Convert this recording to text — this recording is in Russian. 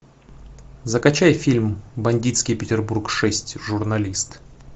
закачай фильм бандитский петербург шесть журналист